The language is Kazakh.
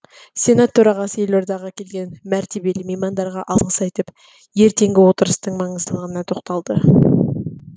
сенат төрағасы елордаға келген мәртебелі меймандарға алғыс айтып ертеңгі отырыстың маңыздылығына тоқталды